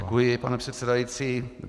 Děkuji, pane předsedající.